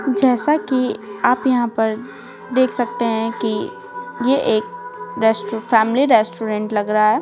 जैसा कि आप यहां पर देख सकते हैं कि ये एक रेस्ट फैमिली रेस्टोरेंट लग रहा है।